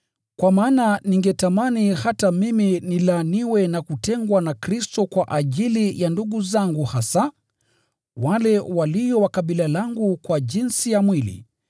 Kwa maana ningetamani hata mimi nilaaniwe na kutengwa na Kristo kwa ajili ya ndugu zangu hasa, wale walio wa kabila langu kwa jinsi ya mwili,